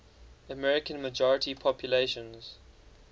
american majority populations